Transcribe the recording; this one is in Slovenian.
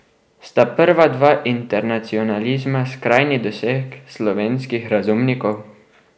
Sta prva dva internacionalizma skrajni doseg slovenskih razumnikov?